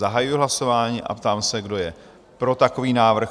Zahajuji hlasování a ptám se, kdo je pro takový návrh?